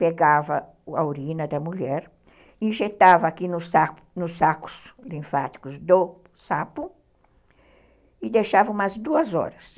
Pegava a urina da mulher, injetava aqui nos sacos linfáticos do sapo e deixava umas duas horas.